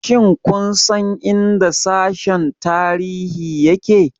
Shin kun san inda Sashen Tarihi yake?